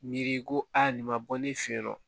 Miiri ko aa nin ma bɔ ne fɛ yen nɔ